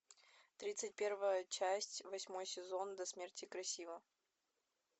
тридцать первая часть восьмой сезон до смерти красива